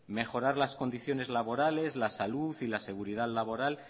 mejorar las condiciones laborales la salud y la seguridad laboral